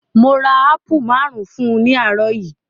Mo ra ápù maárùn-ún fún ní àárọ̀ yìí.